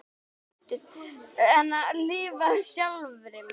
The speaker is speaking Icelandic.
Lifað sjálfri mér.